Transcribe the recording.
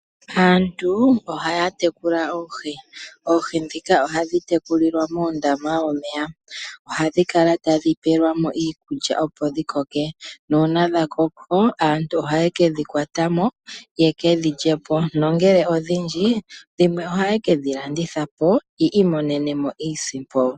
Aantu ohaya tekula oohi. Oohi ndhika ohadhi tekulilwa muundama womeya ohadhi kala tadhi peelwamo iikulya opo dhi koke nuuna dha koko aantu ohaye ke dhi kwatamo ye kedhi lyepo nongele odhindji dhimwe ohaye ke dhi landithapo yi imonenemo iisimpo.